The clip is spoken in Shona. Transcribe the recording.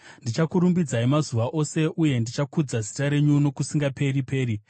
Ndichakurumbidzai mazuva ose, uye ndichakudza zita renyu nokusingaperi-peri.